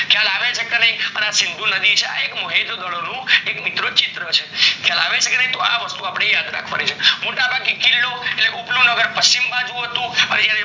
ખ્યાલ આવે છે કે નાય અને આ સિંધુ નદી છે, આ એક મોહેજ નો દરો નું મિત્રો ચિત્ર છે ખ્યાલ આવે છે કે નય તો અપડે અ વસ્તુ યાદ રાખવાની છે મોટા ભાગે કિલ્લો એ ઉપર નું નગર પશ્ચિમ બાજુ હતી